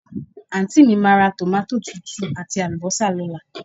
Àntí mi máa ra tòmátò tútù àti àlùbọ́sà lóla